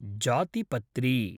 जातिपत्री